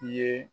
I ye